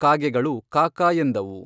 ಕಾಗೆಗಳು ಕಾಕಾ ಎಂದವು.